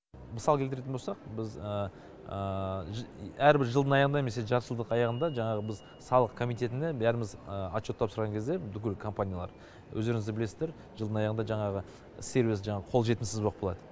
мысал келтіретін болсақ біз әрбір жылдың аяғында немесе жартыжылдық аяғында жаңағы біз салық комитетінде бәріміз отчет тапсырған кезде бүкіл компаниялар өздеріңіз де білесіздер жылдың аяғында жаңағы сервис қолжетімсіз боп қалады